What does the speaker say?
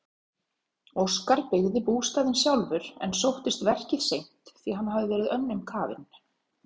Óskar byggði bústaðinn sjálfur en sóttist verkið seint því hann hafði verið önnum kafinn.